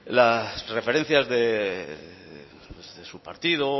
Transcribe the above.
las referencias de su partido